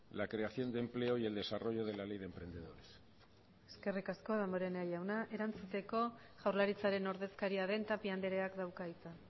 la creación de empleo y el desarrollo de la ley de emprendedores eskerrik asko damborenea jauna erantzuteko jaurlaritzaren ordezkaria den tapia andreak dauka hitza